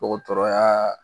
Dɔgɔtɔrɔya